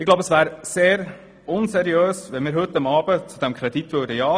Ich glaube, es wäre sehr unseriös, wenn wir heute Abend ja zu diesem Kredit sagen würden.